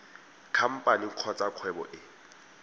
khamphane kgotsa kgwebo e e